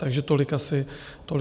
Takže tolik asi k tomu.